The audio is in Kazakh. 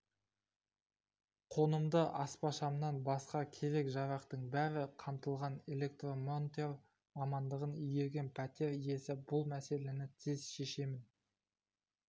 қонымды аспашамнан басқа керек-жарақтың бәрі қамтылған электромонтер мамандығын игерген пәтер иесі бұл мәселені тез шешемін